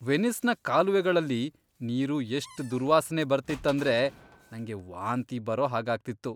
ವೆನಿಸ್ನ ಕಾಲುವೆಗಳಲ್ಲಿ ನೀರು ಎಷ್ಟ್ ದುರ್ವಾಸ್ನೆ ಬರ್ತಿತ್ತಂದ್ರೆ, ನಂಗೆ ವಾಂತಿ ಬರೋ ಹಾಗ್ ಆಗ್ತಿತ್ತು.